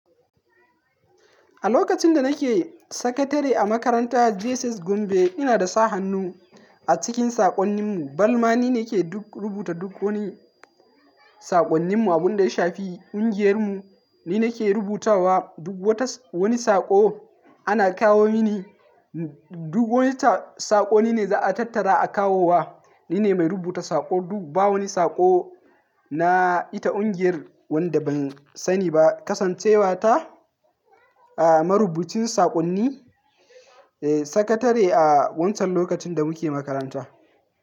A lokacin da nake sakandari a makaranta JSS Gombe, ina da sa hannu a cikin saƙonnin mu. Bana ma ni ne ke duk rubuta duk wani saƙonnin mu. Abun da ya shafi ƙungiyar mu, ni ne ke rubutawa. Duk wata wani saƙo ana kawo mini. Duk wata saƙo ni ne za a tattara a kawowa. Ni ne mai rubuta saƙo. Duk ba wani saƙo na ita ƙungiyar wanda ban sani ba. Kasancewa ta, ah marubucin saƙonni, eh sakatare a wancan lokacin da muke makaranta.